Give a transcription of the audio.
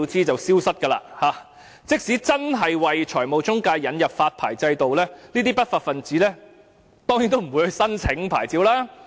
即使政府真的就財務中介引入發牌制度，這些不法分子當然不會申請牌照。